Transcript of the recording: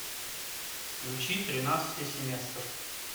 включи тринадцатый семестр